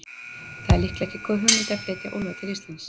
Það er líklega ekki góð hugmynd að flytja úlfa til Íslands.